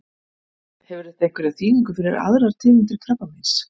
Hefur þetta einhverja þýðingu fyrir aðrar tegundir krabbameins?